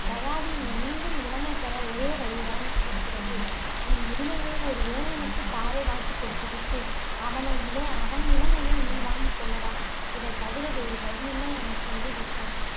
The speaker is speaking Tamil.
யயாதி நீ மீண்டும் இளமையைப் பெற ஒரே ஒருவழிதான் இருக்கிறது. உன் முதுமையை ஒரு இளைஞனுக்கு தாரை வார்த்து கொடுத்து விட்டு, அவனை இளை~ அவன் இளமையை நீ வாங்கிக் கொள்ளலாம். இதைத் தவிர வேறு வழியில்லை, என சொல்லி விட்டான்.